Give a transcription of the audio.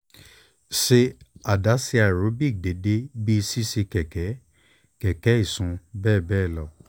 ṣe adaṣe aerobik deede bi ṣiṣe keke keke isun beebee lo